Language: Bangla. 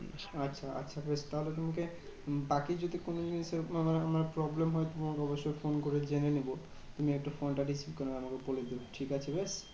আচ্ছা আচ্ছা বেশ তাহলে তোমাকে বাকি যদি কোনো জিনিসের মানে মানে problem হয় তোমাকে অবশ্যই ফোন করে জেনে নেবো। তুমি একটু ফোনটা receive করে নেবে আমাকে বলে দেবে, ঠিকাছে?